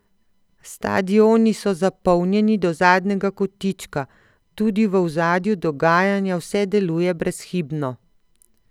Stadioni so zapolnjeni do zadnjega kotička, tudi v ozadju dogajanja vse deluje brezhibno!